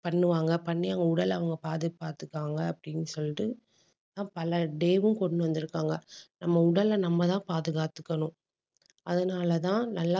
பண்ணுவாங்க பண்ணி அவங்க உடலை அவங்க பாத்து~ பாத்துப்பாங்க அப்படின்னு சொல்லிட்டு ஆஹ் பல day வும் கொண்டு வந்திருக்காங்க. நம்ம உடலை நம்ம தான் பாதுகாத்துக்கணும். அதனாலதான் நல்லா